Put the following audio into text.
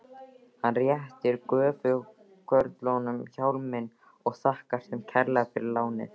Hann réttir gröfukörlunum hjálminn og þakkar þeim kærlega fyrir lánið.